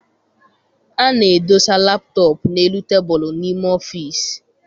Ana-edosa laptọp n'elu tebulu n'ime ọfịịsi.